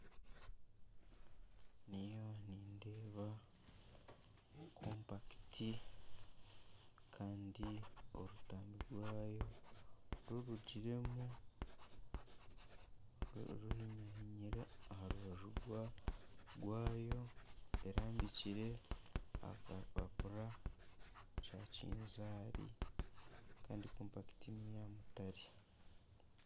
Ndiyo nindeeba kompakiti kandi orutambi rwayo rurugiremu, ruhinyahinyire aha rubaju rwayo erambikire aha kapapura ka kinzaari kandi kompakiti neya mutaare